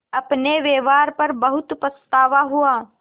अपने व्यवहार पर बहुत पछतावा हुआ